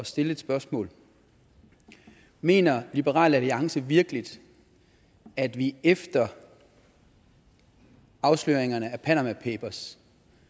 stille et spørgsmål mener liberal alliance virkelig at vi efter afsløringen af panama papers